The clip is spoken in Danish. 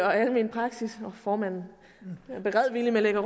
og almen praksis jeg at formanden beredvilligt